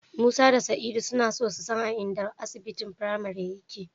Musa da Sa'idu suna so su san a inda asibitin Premier yake.